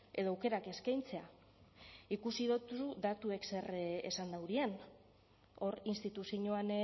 edo aukerak eskaintzea ikusi dizu datuek zer esan daurien hor instituzioan